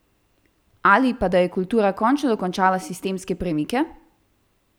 Ali pa da je kultura končno dočakala sistemske premike?